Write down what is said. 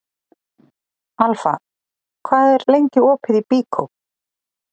Alfa, hvað er lengi opið í Byko?